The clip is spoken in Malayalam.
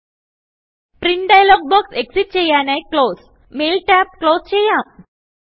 പ്രിന്റ് ഡയലോഗ് ബോക്സ് എക്സിറ്റ് ചെയ്യാനായി ക്ലോസ് മെയിൽ ടാബ് ക്ലോസ് ചെയ്യാം